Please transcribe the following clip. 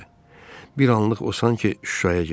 Bir anlıq o sanki Şuşaya getdi.